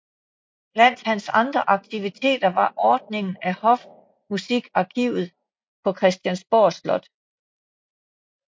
Blandt hans andre aktiviteter var ordningen af Hofmusikarkivet på Christiansborg Slot